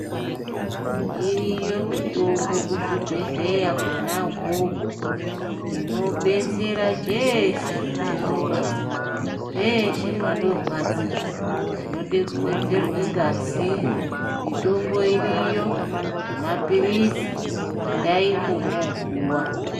Uriyo mitombo kuzvibhehlera kwona ukoko inodetsera chese chinorwadza, peshe panorwadza. Vanode kuwedzerwe ngazi, mitombo iriyo nemapirizi endaipo mwopuwa.